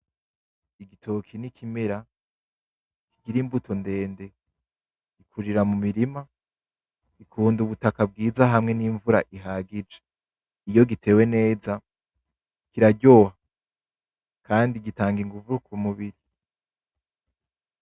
Igitoke ni ikimera kigira imbuto ndende. Gikurira mu mirima, gikunda ubutaka bwiza hamwe n'imvura ihagije. Iyo gitewe neza kiraryoha kandi gitanga inguvu ku mubiri.